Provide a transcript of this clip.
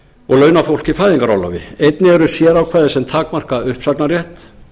og launafólk í fæðingarorlofi einnig eru sérákvæði sem takmarka uppsagnarrétt